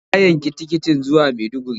Ya yanki tiketin zuwa Maiduguri.